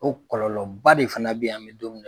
O kɔlɔlɔba de fana be yan an bɛ don min na